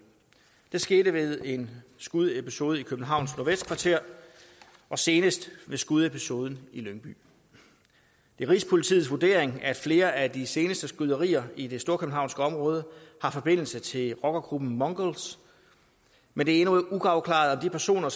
det skete ved en skudepisode i københavns nordvestkvarter og senest ved skudepisoden i lyngby det er rigspolitiets vurdering at flere af de seneste skyderier i det storkøbenhavnske område har forbindelse til rockergruppen mongols men det er endnu uafklaret om de personer